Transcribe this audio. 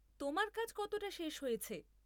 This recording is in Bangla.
তোমার কাজ কতটা শেষ হয়েছে?